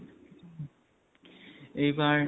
এইবাৰ